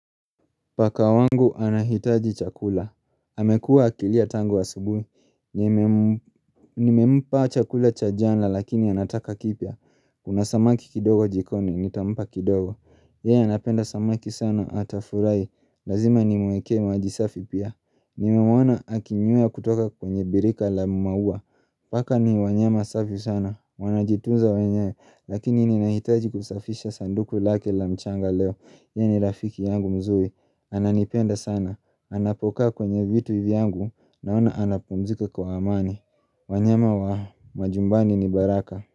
Paka wangu anahitaji chakula amekua akilia tangu asubuhi Nimempa chakula cha jana lakini anataka kipya Kuna samaki kidogo jikoni, nitampa kidogo Yeye anapenda samaki sana ata furahi Lazima nimuekee maji safi pia Nimemuoana akinywea kutoka kwenye birika la maua Paka ni wanyama safi sana Wanajituza wenyewe Lakini ninahitaji kusafisha sanduku lake la mchanga leo Yeye rafiki yangu mzuri Ananipenda sana, anapokaa kwenye vitu vyangu naona anapumzika kwa amani wanyama wa majumbani ni baraka.